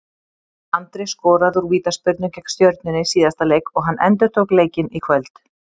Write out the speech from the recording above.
Andri skoraði úr vítaspyrnu gegn Stjörnunni í síðasta leik og hann endurtók leikinn í kvöld.